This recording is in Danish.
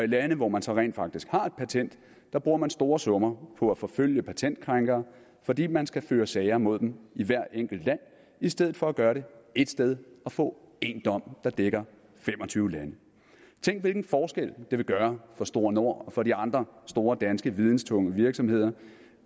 lande hvor man så rent faktisk har et patent bruger man store summer på at forfølge patentkrænkere fordi man skal føre sager mod dem i hvert enkelt land i stedet for at gøre det ét sted og få én dom der dækker fem og tyve lande tænk hvilken forskel det vil gøre for gn store nord og for de andre store danske videntunge virksomheder